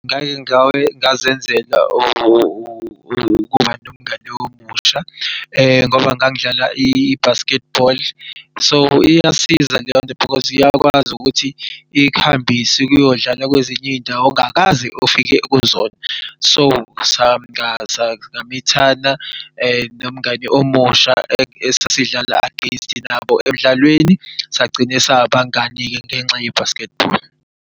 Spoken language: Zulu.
Ngake ngazenzela ukuba nomngani omusha ngoba ngangidlala i-basketball, so iyasiza leyonto because iyakwazi ukuthi ikuhambise ukuyodlala kwezinye izindawo ongakaze ufike kuzona. So samithana nomngani omusha esasidlala against nabo emdlalweni, sagcina sabangani-ke ngenxa ye-basketball.